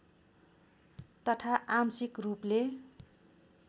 तथा आंशिक रूपले